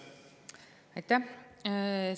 Aitäh!